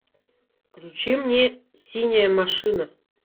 включи мне синяя машина